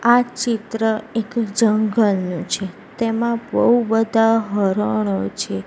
આ ચિત્ર એક જંગલ નુ છે તેમા બઉ બધા હરણો છે.